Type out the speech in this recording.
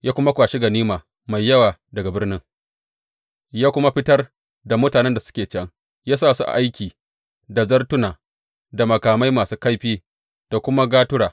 Ya kuma kwashi ganima mai yawa daga birnin ya kuma fitar da mutanen da suke can, ya sa su aiki da zartuna da makamai masu kaifi da kuma gatura.